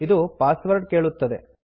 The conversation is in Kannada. ಇದು ಪಾಸ್ವರ್ಡ್ ಕೇಳುತ್ತದೆ